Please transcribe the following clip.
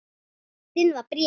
Einu sinni var bréf.